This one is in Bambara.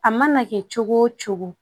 A mana kɛ cogo o cogo